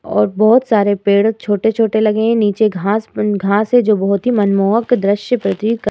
ओर बोहोत सारे पेड़ छोटे-छोटे लगे हैं। नीचे घास उँ घास है जो बोहोत ही मनमोहक दृश्य प्रतीत कर रही --